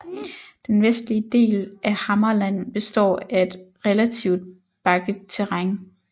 Den vestlige del af Hammarland består af et relativt bakket terræn